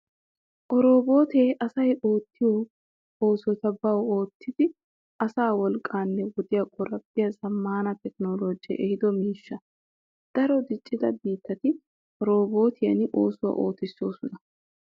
Oroobootee asay oottiyo oosota bawu oottidi asaa wolqqaanne wodiya qoraphphiya zammaana tekinoloojee ehiido miishsha. Daro diccida biittati oroobootiyan oossuwaa ootissoosona.